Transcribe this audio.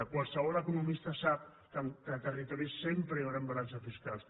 qualsevol economista sap que entre territoris sempre hi hauran balances fiscals